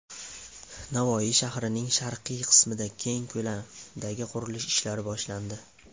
Navoiy shahrining sharqiy qismida keng ko‘lamdagi qurilish ishlari boshlandi.